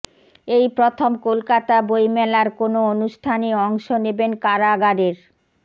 এই প্রথম কলকাতা বই মেলার কোনো অনুষ্ঠানে অংশ নেবেন কারাগারের